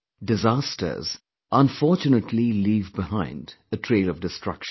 Disasters, unfortunately leave behind a trail of destruction